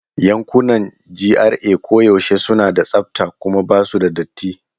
Yankunan GRA koyaushe suna da tsafta kuma ba su da datti.